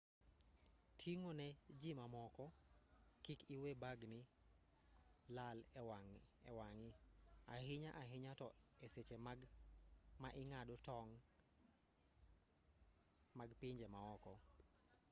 ting'o ne ji ma moko kik iwe bagni lal e wang'i ahinya ahinya to e seche ma ing'ado tong' mag pinje maoko